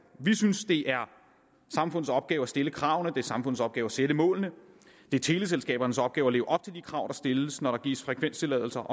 vi synes det er samfundets opgave at stille kravene det er samfundets opgave at sætte målene det er teleselskabernes opgave at leve op til de krav der stilles når der gives frekvenstilladelser